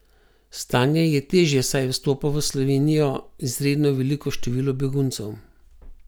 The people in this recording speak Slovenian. Stanje je težje, saj vstopa v Slovenijo izredno veliko število beguncev.